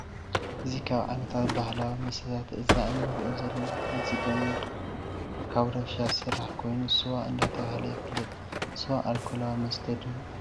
እዚ ካብ ዓይነታት ባህላዊ መስተታት እዛ እንሪኦ ዘለና ካብ ስገም ወይ ከዓ ካብ ዳጉሻ ዝስራሕ ኮይኑ ስዋ እንዳተባሀለ ይፍለጥ ። ስዋ ኣርኮላዊ መስተ ድዩ?